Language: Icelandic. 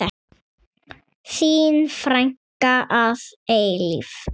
Þín frænka að eilífu.